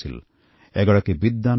তেওঁৰ প্ৰাণ শিক্ষাৰ প্ৰতি সমৰ্পিত আছিল